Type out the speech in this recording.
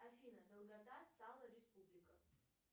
афина долгота сало республика